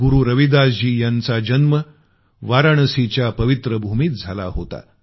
गुरु रविदासजी यांचा जन्म वाराणसीच्या पवित्र भूमीत झाला होता